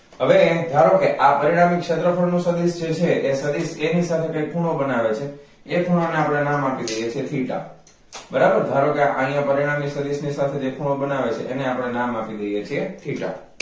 હવે ધારો કે પરિણામી ક્ષેત્રફળ નુ સદિસ જે છે તે સદિસ a ની સાથે જે ખૂણો બનાવે છે એ ખૂણાને આપણે નામ આપી દઈએ છે theta બરોબર ધારો કે અહિયાં પરિણામી સદિસ ની સાથે જે ખૂણો બનાવે છે એને આપણે નામ આપી દઈએ છે theta